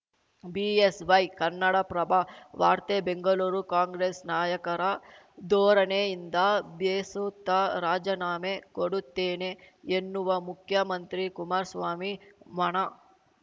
BSY Kannadaprabha ವಾರ್ತೆ ಬೆಂಗಳೂರು ಕಾಂಗ್ರೆಸ್‌ ನಾಯಕರ ಧೋರಣೆಯಿಂದ ಬೇಸುತ್ತ ರಾಜನಾಮೆ ಕೊಡುತ್ತೇನೆ ಎನ್ನುವ ಮುಖ್ಯಮಂತ್ರಿ ಕುಮಾರ್ ಸ್ವಾಮಿ ಮಾನ